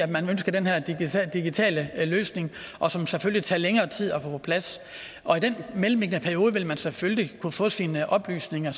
man ønsker den her digitale digitale løsning som selvfølgelig tager længere tid at få på plads og i den mellemliggende periode vil man selvfølgelig kunne få sine oplysninger